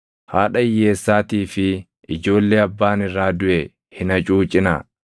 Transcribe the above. “Haadha hiyyeessaatii fi ijoollee abbaan irraa duʼe hin hacuucinaa.